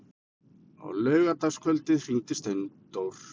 Á laugardagskvöldið hringdi Steindór.